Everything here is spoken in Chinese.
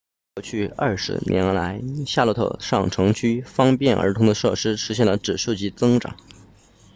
过去20年来夏洛特上城区方便儿童的设施实现了指数级增长